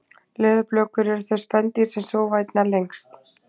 leðurblökur eru þau spendýr sem sofa einna lengst